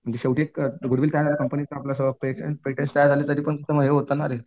म्हणजे शेवटी एक कंपनीत आपला पेटंट पेटंट होते ना रे.